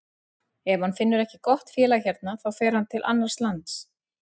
Ef hann finnur ekki gott félag hérna þá fer hann til annars lands.